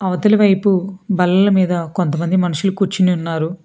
అవతలి వైపు బల్లల మీద కొంతమంది మనుషులు కూచ్చుని ఉన్నారు.